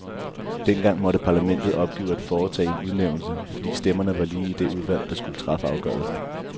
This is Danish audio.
Dengang måtte parlamentet opgive at foretage en udnævnelse, fordi stemmerne var lige i det udvalg, der skulle træffe afgørelsen.